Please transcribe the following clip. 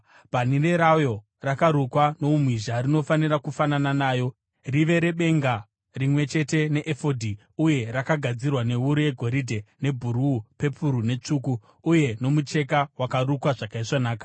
Bhanhire rayo rakarukwa noumhizha rinofanira kufanana nayo, rive rebenga rimwe chete neefodhi uye rakagadzirwa newuru yegoridhe, nebhuruu, pepuru netsvuku, uye nomucheka wakarukwa zvakaisvonaka.